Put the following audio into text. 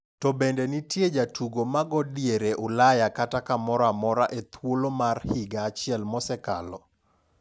To bende nitie jatugo mago diere Ulaya kata kamoroamora e thuolo mar higa achiel mosekalo?